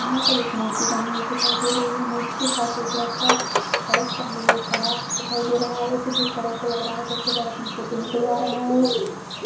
यहाँ पर एक मूर्ति बनी हुवी दिखाई दे रही है। मूर्ति के पास लड़का बैग टांगे हुवा खड़ा दिखाई दे रहा है। उसे देखकर ऐसा लग रहा है जैसे की वो फोटो निकलवा रहा हो।